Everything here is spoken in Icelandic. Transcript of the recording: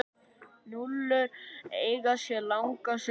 Núðlur eiga sér langa sögu.